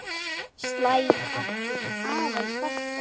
Slæ aftur aðeins fastar.